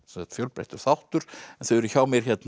sagt fjölbreyttur þáttur en þau eru hjá mér